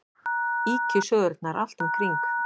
Ýkjusögurnar allt um kring.